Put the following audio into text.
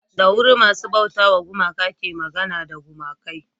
da wuri masu bauta wa gumaka ke magana da gumakai